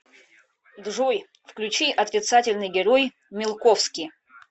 джой включи отрицательный герой милковский